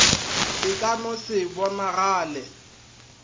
e ka no se bonagale